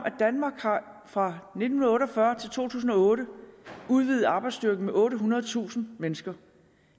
at danmark fra nitten otte og fyrre til to tusind og otte har udvidet arbejdsstyrken med ottehundredetusind mennesker